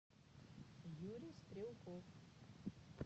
юрий стрелков